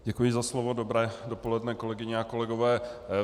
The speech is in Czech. Děkuji za slovo, dobré dopoledne, kolegyně a kolegové.